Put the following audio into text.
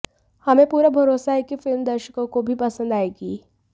हमें पूरा भरोसा है कि फिल्म दर्शकों को भी पसंद आएगी